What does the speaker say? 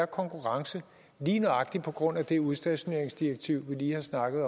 konkurrence lige nøjagtig på grund af det udstationeringsdirektiv vi lige har snakket